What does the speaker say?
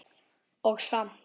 Og samt.